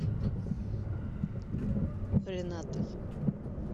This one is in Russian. ренатой